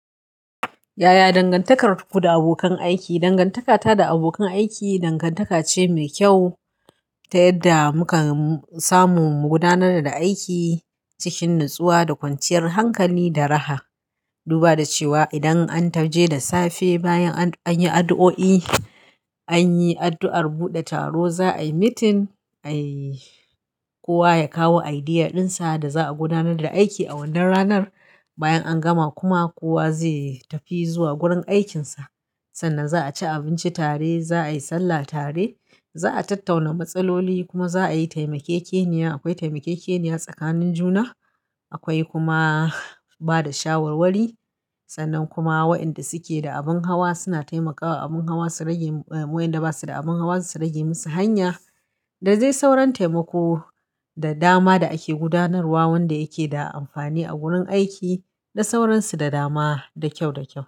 Yaya dangantakarku da abokan aiki? Dangantakata da abokan aiki, dangantaka ce mai kyau ta yadda muka samu mu gudanar da aiki cikin natsuwa da kwanciyar hankali da raha. Duba da cewa idan an taje da safe bayan an yi addu'o'i, an yi addu'ar buɗe taro, za a yi meeting, ai kowa ya kawo idea ɗinsa da za a gudanar da aiki a wannan ranar. Bayan an gama kuma kowa zai tafi zuwa gurin aikinsa. Sannan za a ci abinci tare, za a yi sallah tare, za a tattauna matsaloli kuma za a yi taimake-keniya. Akwai taimake-keniya tsakanin juna, akwai kuma ba da shawarwari. Sannan kuma wa'inda suke da abun hawa suna taimakawa abun hawa su rage, wa'inda ba su da abun hawa su rage musu hanya. Da zai sauran taimako da dama da ake gudanarwa wanda yake da amfani a wurin aiki da sauransu da dama da kyau, da kyau.